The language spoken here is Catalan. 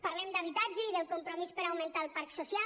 parlem d’habitatge i del compromís per augmentar el parc social